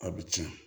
A bɛ tiɲɛ